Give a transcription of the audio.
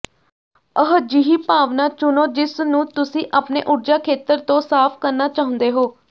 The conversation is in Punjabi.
ਅਜਿਹੀ ਭਾਵਨਾ ਚੁਣੋ ਜਿਸ ਨੂੰ ਤੁਸੀਂ ਆਪਣੇ ਊਰਜਾ ਖੇਤਰ ਤੋਂ ਸਾਫ਼ ਕਰਨਾ ਚਾਹੁੰਦੇ ਹੋ